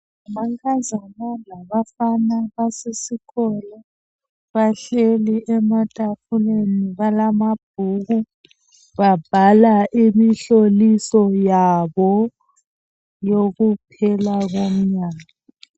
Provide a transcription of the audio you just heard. Abankazana labafana basesikolo bahleli, ematafuleni balamabhuku babhala imihloliso yabo yokuphela komnyaka.